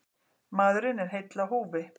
Maðurinn er heill á húfi.